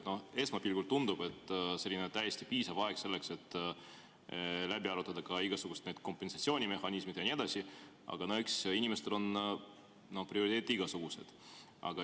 No esmapilgul tundub, et see on täiesti piisav aeg selleks, et läbi arutada ka igasugused kompensatsioonimehhanismid jne, aga no eks inimestel on prioriteete igasuguseid.